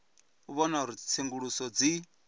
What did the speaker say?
u vhona uri tsenguluso dzi